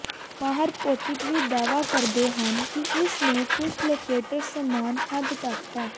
ਮਾਹਰ ਭੌਤਿਕ ਵੀ ਦਾਅਵਾ ਕਰਦੇ ਹਨ ਕਿ ਇਸ ਨੂੰ ਕੁਝ ਲੋਕੇਟਰ ਸਮਾਨ ਹੱਦ ਤੱਕ ਹੈ